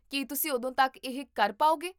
ਕੀ ਤੁਸੀਂ ਉਦੋਂ ਤੱਕ ਇਹ ਕਰ ਪਾਓਗੇ?